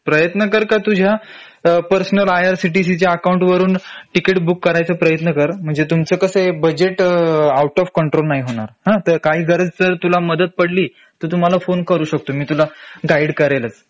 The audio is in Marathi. प्रयत्न कर का तुझ्या पर्सनल IRCTC च्या अकाउंट वरून तिकीट बुक करायचा प्रयत्न कर म्हणजे तुमचं कसेय बजेट आऊट ऑफ कंट्रोल नाही होणार हं तर काही गरज जर तुला मदत पडली तर तू मला फोन करू शकतो मी तुला गाईड करेलच